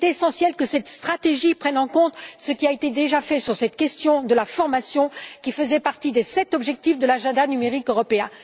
Il est essentiel que cette stratégie prenne en compte ce qui a déjà été fait sur cette question de la formation, qui faisait partie des sept objectifs de l'agenda numérique européen.